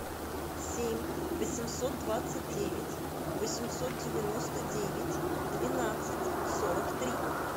семь восемьсот двадцать девять восемьсот девяносто девять двенадцать сорок три